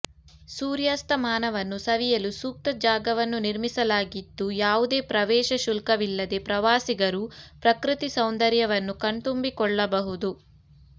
ಸೂರ್ಯಾಸ್ತಮಾನವನ್ನು ಸವಿಯಲು ಸೂಕ್ತ ಜಾಗವನ್ನು ನಿರ್ಮಿಸಲಾಗಿದ್ದು ಯಾವುದೇ ಪ್ರವೇಶ ಶುಲ್ಕವಿಲ್ಲದೇ ಪ್ರವಾಸಿಗರು ಪ್ರಕೃತಿ ಸೌಂದರ್ಯವನ್ನು ಕಣ್ತುಂಬಿಕೊಳ್ಳಬಹುದು